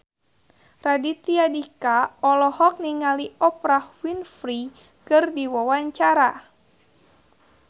Raditya Dika olohok ningali Oprah Winfrey keur diwawancara